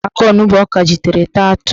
O ji alaka onugbo ọ kajitere taa atụ.